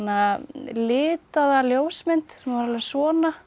litaða ljósmynd sem var alveg svona